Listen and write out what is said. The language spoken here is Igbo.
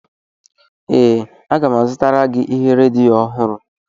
Ee, aga m azụtara gị ihe redio ọhụrụ